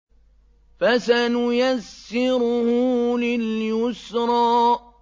فَسَنُيَسِّرُهُ لِلْيُسْرَىٰ